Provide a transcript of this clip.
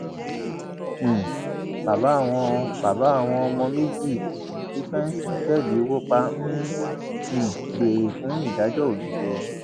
um bàbá àwọn bàbá àwọn ọmọ méjì tí fẹǹsì òtẹẹlì wọ pa ń um béèrè fún ìdájọ òdodo